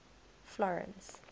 florence